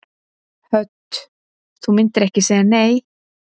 Hödd: Þú myndir ekki segja nei?